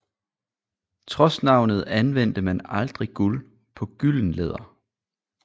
Trods navnet anvendte man aldrig guld på gyldenlæder